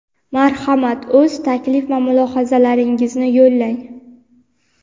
Marhamat o‘z taklif va mulohazalaringizni yo‘llang.